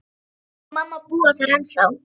Pabbi og mamma búa þar ennþá.